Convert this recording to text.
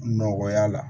Nɔgɔya la